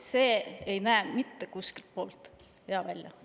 … see ei näe mitte kuskilt otsast hea välja.